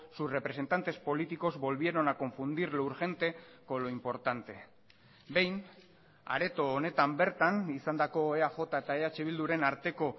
sus representantes políticos volvieron a confundir lo urgente con lo importante behin areto honetan bertan izandako eaj eta eh bilduren arteko